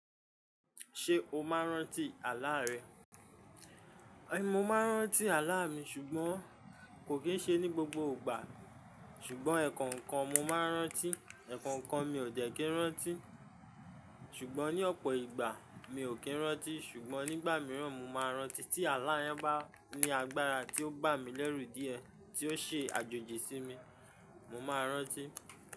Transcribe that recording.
Ṣé o máa ń rántí àlá rẹ? Mo máa ń rántí àlá mi ṣùgbọ́n kò kì í ṣe ní gbogbo ìgbà. Ṣùgbọ́n ẹ̀kọ̀ǹkan mo máa ń rántí, ẹ̀kọ̀ǹkan mi ò dẹ́ kí ń rántí. Ṣùgbọ́n ní ọ̀pọ̀ ìgbà mi ò kí ń rántí, ṣùgbọ́n nígbà mìíràn mo máa ń rántí tí àlá yẹn bá ní agbára tí ó gbà mí lẹ́rù díẹ̀, tí ó ṣe àjòjì sí mi, mo máa rántí.